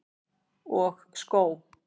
Og skó.